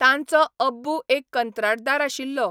तांचोअब्बू एक कंत्राटदार आशिल्लो.